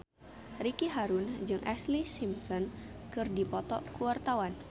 Ricky Harun jeung Ashlee Simpson keur dipoto ku wartawan